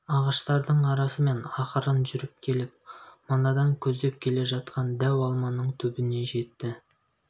ағаштардың арасымен ақырын жүріп келіп манадан көздеп келе жатқан дәу алманың түбіне жетті